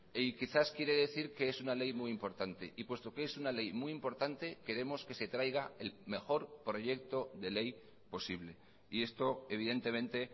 y quizás quiere decir que es una ley muy importante y puesto que es una ley muy importante queremos que se traiga el mejor proyecto de ley posible y esto evidentemente